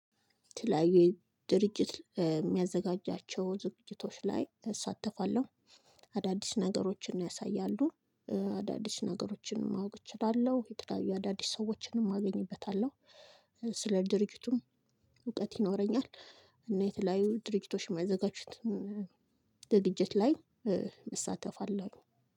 የተለያዩ ድርጅት የሚያዘጋጃቸው ዝግጅቶች ላይ እሳተፋለሁ አዳዲስ ነገሮችን ያሳያሉ። አዳዲስ ነገሮችን ማወቅ እችላለሁ የተለያዩ አዳዲስ ሰዎችንም አገኝበታለሁ ስለ ድርጅቱም እውቀት ይኖረኛል። እና የተለያዩ ድርጅቶች የማዘጋጁትን ዝግጅት ላይ እሳተፋለሁኝ።